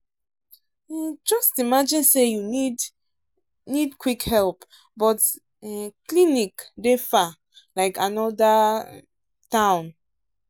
just imagine say you need um quick help but um clinic dey far like another um town.